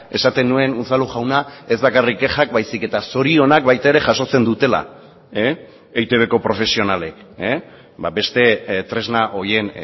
esaten nuen unzalu jauna ez bakarrik kexak baizik eta zorionak baita ere jasotzen dutela eitbko profesionalek beste tresna horien